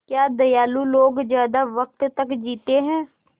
क्या दयालु लोग ज़्यादा वक़्त तक जीते हैं